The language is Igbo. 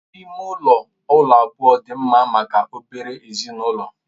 Ụlọ ime ụlọ abụọ dị mma maka obere ezinụlọ.